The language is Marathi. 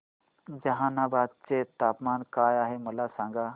जहानाबाद चे तापमान काय आहे मला सांगा